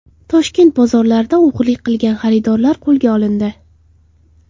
Toshkent bozorlarida o‘g‘rilik qilgan xaridorlar qo‘lga olindi.